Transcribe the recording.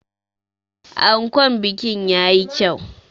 Ankon bikin ya yi kyau.